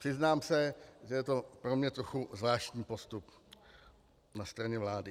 Přiznám se, že je to pro mě trochu zvláštní postup na straně vlády.